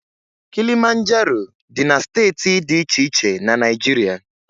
Kilimanjaro dị na steeti dị iche iche na Naịjirịa